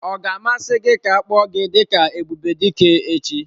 Ọ ga-amasị gị ka a kpọọ gị dị ka Ebubedike echi?